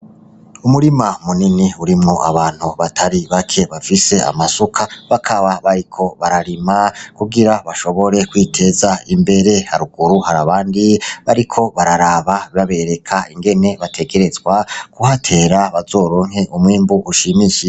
Umurima munini urimwo abantu batari bake bafise amasuka, bakaba bariko bararima kugira bashobore kwiteza imbere. Haruguru hari abandi bariko bararaba, babereka ingene bategerezwa kuhatera kugira bazoronke umwimbu ushimishije.